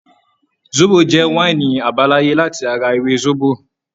Sóbò jẹ́ wáínì àbáláyé láti ara ewé sóbò.